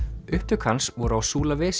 upptök hans voru á